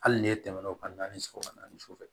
Hali ne tɛmɛn'o kan naani sɔrɔ ka naani sufɛ